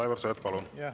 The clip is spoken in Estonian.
Aivar Sõerd, palun!